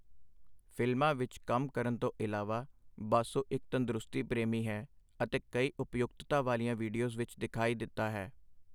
ਫ਼ਿਲਮਾਂ ਵਿੱਚ ਕੰਮ ਕਰਨ ਤੋਂ ਇਲਾਵਾ, ਬਾਸੂ ਇੱਕ ਤੰਦਰੁਸਤੀ ਪ੍ਰੇਮੀ ਹੈ ਅਤੇ ਕਈ ਉਪਯੁਕਤਤਾ ਵਾਲੀਆਂ ਵੀਡੀਓਜ਼ ਵਿੱਚ ਦਿਖਾਈ ਦਿੱਤਾ ਹੈ।